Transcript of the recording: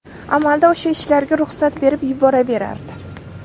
Amalda o‘sha ishlarga ruxsat berib yuboraverardi.